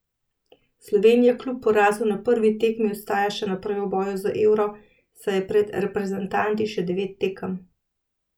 Slovenija kljub porazu na prvi tekmi ostaja še naprej v boju za Euro, saj je pred reprezentanti še devet tekem.